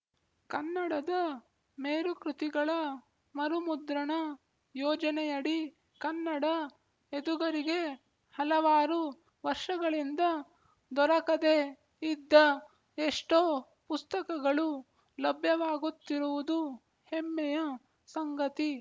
ಕನ್ನಡದ ಮೇರುಕೃತಿಗಳ ಮರುಮುದ್ರಣ ಯೋಜನೆಯಡಿ ಕನ್ನಡ ಎದುಗರಿಗೆ ಹಲವಾರು ವರ್ಷಗಳಿಂದ ದೊರಕದೇ ಇದ್ದ ಎಷ್ಟೋ ಪುಸ್ತಕಗಳು ಲಭ್ಯವಾಗುತ್ತಿರುವುದು ಹೆಮ್ಮೆಯ ಸಂಗತಿ